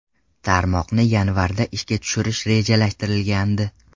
Tarmoqni yanvarda ishga tushirish rejalashtirilgandi.